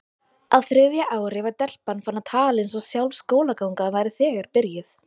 Á þriðja ári var telpan farin að tala eins og sjálf skólagangan væri þegar byrjuð.